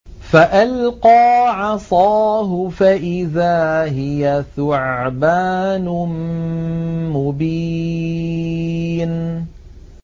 فَأَلْقَىٰ عَصَاهُ فَإِذَا هِيَ ثُعْبَانٌ مُّبِينٌ